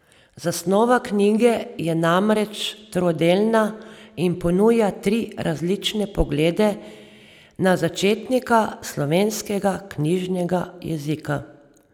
Zasnova knjige je namreč trodelna in ponuja tri različne poglede na začetnika slovenskega knjižnega jezika.